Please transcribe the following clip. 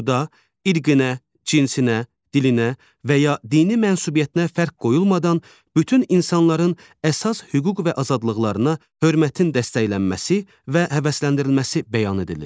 Burada irqinə, cinsinə, dilinə və ya dini mənsubiyyətinə fərq qoyulmadan bütün insanların əsas hüquq və azadlıqlarına hörmətin dəstəklənməsi və həvəsləndirilməsi bəyan edilir.